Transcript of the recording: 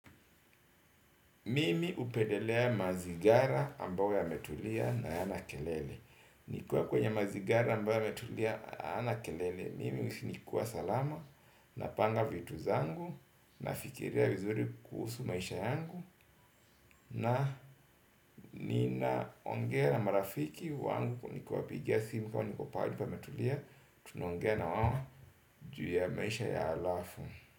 Mimi hupendelea mazingira ambayo yametulia na hayana kelele nikiwa kwenye mazingira ambayo yametulia hayana kelele mimi huhisi nikiwa salama, napanga vitu zangu, nafikiria vizuri kuhusu maisha yangu. Na ninaongea na marafiki wangu nikiwapigia simu nikiwa niko pahali pametulia tunaongea na wao juu ya maisha ya halafu.